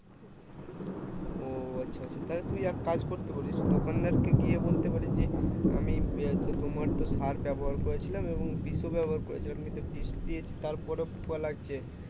ও আচ্ছা আচ্ছা তাহলে তুই একটা কাজ করতে পারিস দোকানদার কে গিয়ে বলতে পারিস যে আমি তো তোমার তো সার ব্যবহার করেছিলাম এবং বিষও ব্যবহার করে ছিলাম নিয়ে দিয়ে বিষ দিয়েছি তার পরে ও পোকা লাগছে